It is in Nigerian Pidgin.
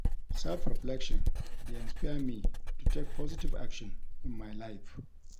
Self-reflection dey inspire me to take positive action in my life.